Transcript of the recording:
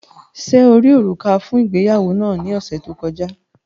Ṣe o ri òrúkà fun ìgbéyàwó naa ni ọsẹ to kọja?